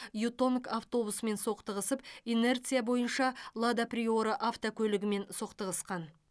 ютонг автобусымен соқтығысып инерция бойынша лада приора автокөлігімен соқтығысқан